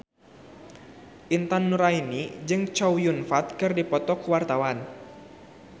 Intan Nuraini jeung Chow Yun Fat keur dipoto ku wartawan